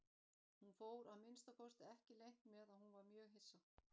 Hún fór að minnsta kosti ekki leynt með að hún var mjög hissa.